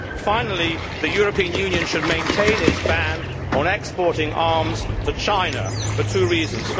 Finally, the European Union should maintain its ban on exporting arms to China, for two reasons.